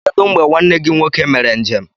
Kedu mgbe nwanne gị nwoke mere njem?